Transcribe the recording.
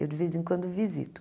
Eu de vez em quando visito.